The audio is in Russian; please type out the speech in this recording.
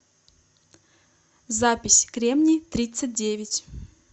запись кремний тридцать девять